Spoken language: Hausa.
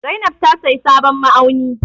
Zainab ta sayi sabon ma'auni.